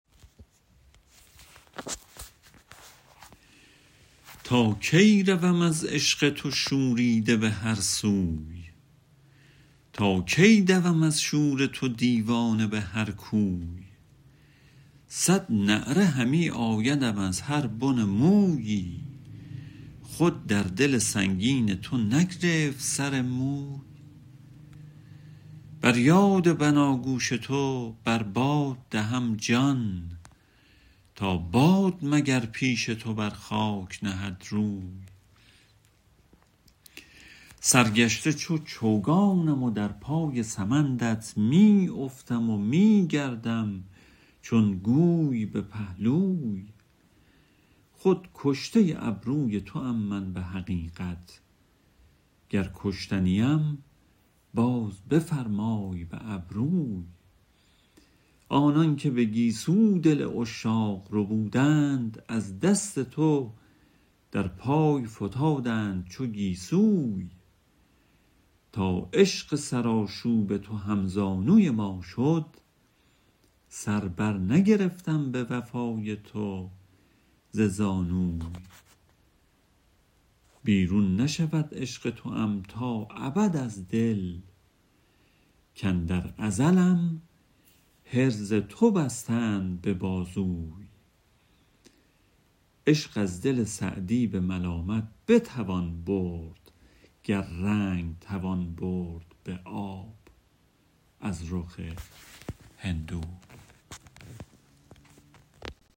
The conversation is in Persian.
تا کی روم از عشق تو شوریده به هر سوی تا کی دوم از شور تو دیوانه به هر کوی صد نعره همی آیدم از هر بن مویی خود در دل سنگین تو نگرفت سر موی بر یاد بناگوش تو بر باد دهم جان تا باد مگر پیش تو بر خاک نهد روی سرگشته چو چوگانم و در پای سمندت می افتم و می گردم چون گوی به پهلوی خود کشته ابروی توام من به حقیقت گر کشته نیم باز بفرمای به ابروی آنان که به گیسو دل عشاق ربودند از دست تو در پای فتادند چو گیسوی تا عشق سرآشوب تو هم زانوی ما شد سر بر نگرفتم به وفای تو ز زانوی بیرون نشود عشق توام تا ابد از دل کاندر ازلم حرز تو بستند به بازوی عشق از دل سعدی به ملامت بتوان برد گر رنگ توان برد به آب از رخ هندوی